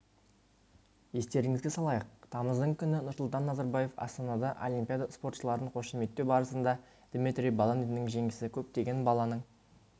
естеріңізге салайық тамыздың күні нұрсұлтан назарбаев астанада олимпиада спортшыларын қошеметтеу барысында дмитрий баландиннің жеңісі көптеген баланың